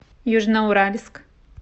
южноуральск